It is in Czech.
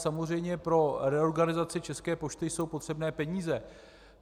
Samozřejmě pro reorganizaci České pošty jsou potřebné peníze.